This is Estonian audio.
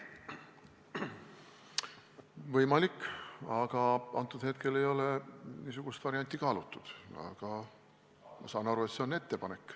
Võimalik, aga praegu ei ole niisugust varianti kaalutud, kuigi ma saan aru, et see on ettepanek.